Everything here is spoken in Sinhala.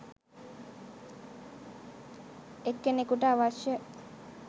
එක්කෙනෙකුට අවශ්‍ය